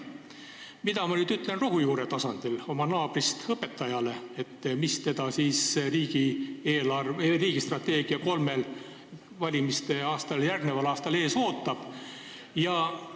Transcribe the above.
Mida ma nüüd ütlen rohujuure tasandil oma naabrist õpetajale, mis teda riigi eelarvestrateegia järgi kolmel valimistele järgneval aastal ees ootab?